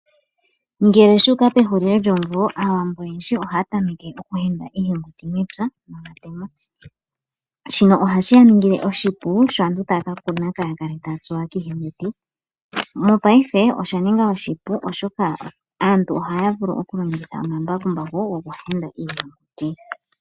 Ngele shuuka pehulili lyomumvo aawambo oyendji ohaya tameke okuhenda iihenguti mepya nomatemo. Shino ohashi yaningile oshipu sho aantu taya kakuna kaya kale tatsuwa kiihenguti .Mongaashingeyi osha ninga oshipu oshoka aantu ohaya vulu okulongitha oomambakumbaku oku henda mo iihenguti momapya.